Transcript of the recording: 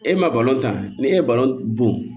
E ma tan ni e ye bɔn